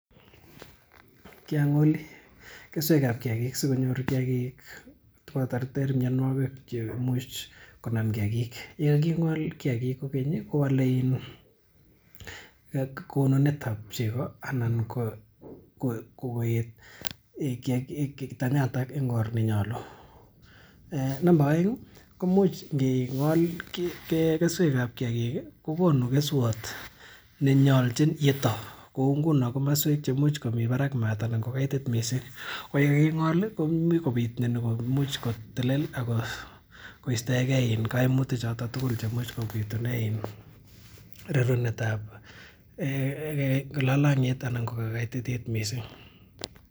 Kiang'oli keswek ap kiakiik asikopit konyor kiakiik koterter mianwogik che imuch konam kiakiik. Ye kaking'ol kiakik kokeny i, kowale konunet ap cheko anan ko koet tabyatak eng' or ne nyalu . Ngi ng'ol keswekap kiakiik i, kokonu keswat ne nyalchin yeto. Kou nguni komaswek che muchi komi maat parak missing' anan ko kaitit missing'. Ko ye kaking'ol i, komuch kopit myani kaimuch kotelel ak koistaengei kaimutichotok tugul che imuch kopitune rerunet ap lalang'iet anan ko kaititiet missing'.